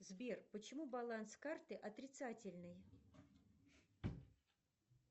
сбер почему баланс карты отрицательный